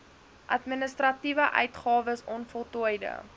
administratiewe uitgawes onvoltooide